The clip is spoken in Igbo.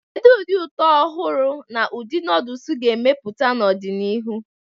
Kedu ụdị ụtọ ọhụrụ na ụdị noodles ga-emepụta n'ọdịnihu?